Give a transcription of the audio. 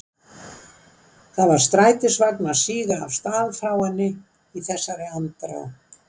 Það var strætisvagn að síga af stað frá henni í þessari andrá.